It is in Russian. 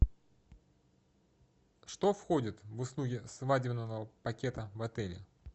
что входит в услуги свадебного пакета в отеле